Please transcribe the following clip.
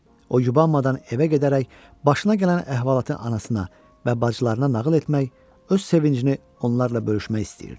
O, yubanmadan evə gedərək başına gələn əhvalatı anasına və bacılarına nağıl etmək, öz sevincini onlarla bölüşmək istəyirdi.